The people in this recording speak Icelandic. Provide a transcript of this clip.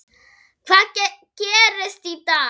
Hvað gerist í dag?